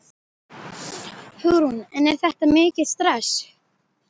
Hugrún: En er þetta mikið stress?